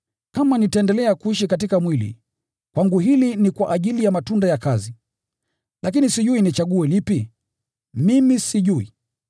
Kama nitaendelea kuishi katika mwili, kwangu hili ni kwa ajili ya matunda ya kazi. Lakini sijui nichague lipi? Mimi sijui!